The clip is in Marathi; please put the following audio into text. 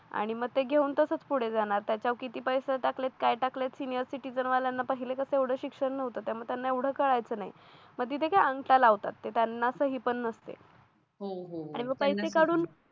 आणि मग ते घेऊन तसाच पुढे जाणार त्याच्यावर किती पैसे टाकलेत काय टाकले सिनियर सिटीझन वाल्यांना पहिले का तेवढे शिक्षण नव्हतं त्यामुळे त्यांना एवढं कळायचं नाही मग तिथे काय अंगठा लावतात ते त्यांना सही पण नसते मग पैसे काढून